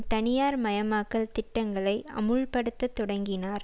தனியார் மயமாக்கல் திட்டங்களை அமுல்படுத்த தொடங்கினார்